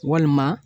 Walima